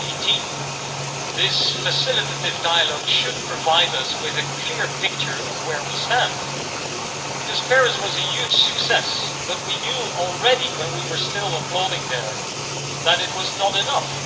2018. This facilitative dialogue should provide us with a clear picture of where we stand, because Paris was a huge success, but we knew even while we were still applauding there that it was not enough